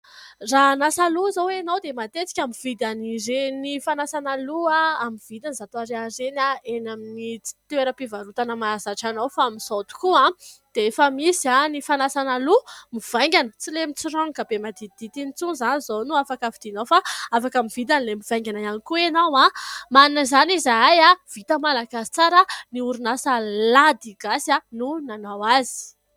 Raha hanasa loha izao ianao dia matetika mividy an'ireny fanasana loha amin'ny vidiny zato ariary ireny eny amin'ny toeram-pivarotana mahazatra anao, fa amin'izao tokoa dia efa misy ny fanasana loha mivaingana, tsy ilay mitsiranoka be maditidity iny intsony izany izao no afaka vidinao fa afaka mividy an'ilay mivaingana ihany koa ianao. Manana izany izahay, vita malagasy tsara, ny orinasa Lady Gasy no nanao azy.